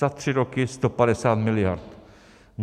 Za tři roky 150 miliard.